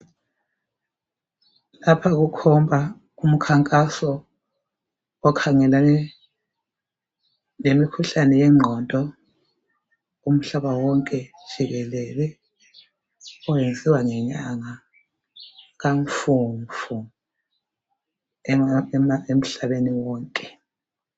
Lapha kukhomba umkhankaso okhangelane lemikhuhlane yengqondo umhlaba wonke jikelele oyenziwa ngenyanga kaMfumfu emhlabeni wonke .